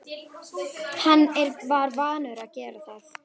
Hann var vanur að gera það.